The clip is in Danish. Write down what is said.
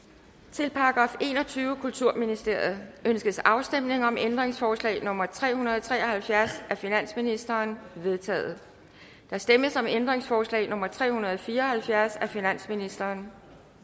til § enogtyvende kulturministeriet ønskes afstemning om ændringsforslag nummer tre hundrede og tre og halvfjerds af finansministeren det er vedtaget der stemmes om ændringsforslag nummer tre hundrede og fire og halvfjerds af finansministeren